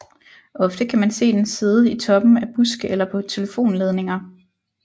Ofte kan man se den sidde i toppen af buske eller på telefonledninger